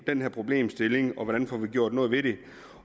den her problemstilling og hvordan vi får gjort noget ved det